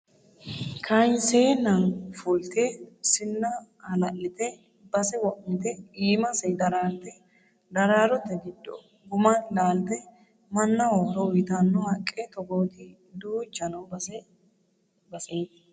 Kayinsenna fulte sinna hala'lite base wo'mite iimase dararte daraarote giddo guma laalte mannaho horo uyittano haqqe togooti duucha no base basete.